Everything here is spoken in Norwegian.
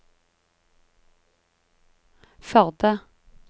Førde